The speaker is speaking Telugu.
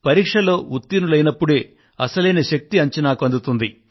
పరీక్షలో ఉత్తీర్ణులైనప్పుడే అసలైన శక్తి అంచనాకు అందుతుంది